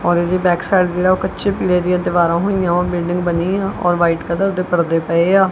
ਔਰ ਇਹਦੀ ਬੈਕਸਾਈਡ ਜੇਹੜਾ ਓਹ ਕਛੇ ਪੀੜ੍ਹੇ ਦਿਆਂ ਦੀਵਾਰਾਂ ਹੋਈਆਂ ਵਾਂ ਬਿਲਡਿੰਗ ਬਨੀ ਹਾਂ ਔਰ ਵ੍ਹਾਈਟ ਕਲਰ ਦੇ ਪਰਦੇ ਪਏ ਆ।